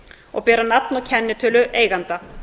og bera nafn og kennitölu eiganda